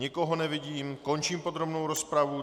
Nikoho nevidím, končím podrobnou rozpravu.